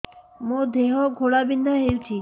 ମୋ ଦେହ ଘୋଳାବିନ୍ଧା ହେଉଛି